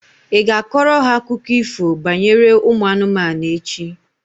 Ị ga-akọrọ ha akụkọ ifo banyere ụmụ anụmanụ echi?